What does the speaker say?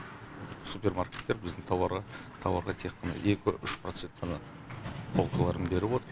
супермаркеттер біздің тауарға тек қана екі үш процент ғана полкаларын беріп отыр